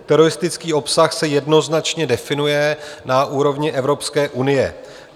Teroristický obsah se jednoznačně definuje na úrovni Evropské unie.